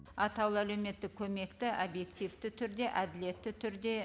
атаулы әлеуметтік көмекті объективті түрде әділетті түрде